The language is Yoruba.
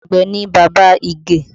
Àgbẹ̀ ni bàbá Ige